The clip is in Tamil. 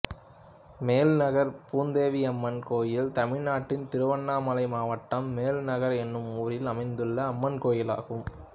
மேல்நகர் பூந்தேவியம்மன் கோயில் தமிழ்நாட்டில் திருவண்ணாமலை மாவட்டம் மேல்நகர் என்னும் ஊரில் அமைந்துள்ள அம்மன் கோயிலாகும்